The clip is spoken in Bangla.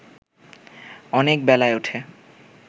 অনেক বেলায় উঠে